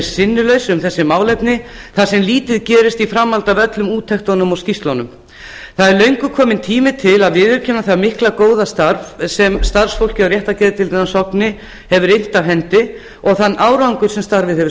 sinnulaus um þessi málefni þar sem lítið gerist í framhaldi af öllum úttektunum og skýrslunum það er löngu kominn tími til að viðurkenna það mikla og góða starf sem starfsfólk á réttargeðdeildinni á sogni hefur innt af hendi og þann árangur sem starfið hefur